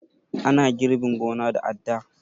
Ana girbin gona da adda